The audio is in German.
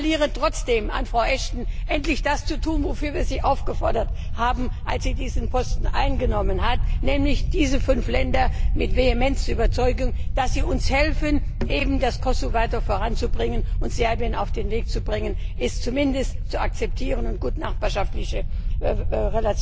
Ich appelliere trotzdem an Frau Ashton, endlich das zu tun, wozu wir sie aufgefordert haben, als sie diesen Posten eingenommen hat nämlich diese fünf Länder mit Vehemenz zu überzeugen, dass sie uns helfen, das Kosovo weiter voranzubringen und Serbien dahin zu bringen, es zumindest zu akzeptieren und gute nachbarschaftliche Beziehungen